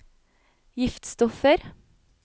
giftstoffer